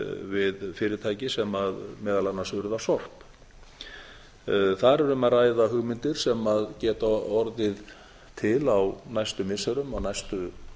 við fyrirtæki sem meðal annars urðar sorp þar er um að ræða hugmyndir sem geta orðið til á næstu missirum og næstu